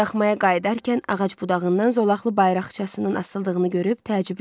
Daxmaya qayıdarkən ağac budağından zolaqlı bayraqçasının asıldığını görüb təəccübləndi.